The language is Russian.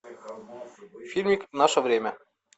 фильмик наше время